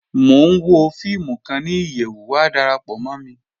Mọ̀ n wọ fíìmù kan ni iyẹwú, wà dárápọ̀ mọ̀ mí.